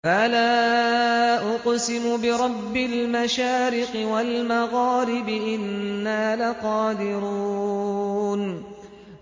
فَلَا أُقْسِمُ بِرَبِّ الْمَشَارِقِ وَالْمَغَارِبِ إِنَّا لَقَادِرُونَ